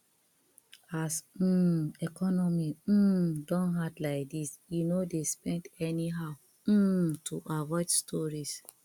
as um economy um don hard like dis eh no dey spend anyhow um to avoid stories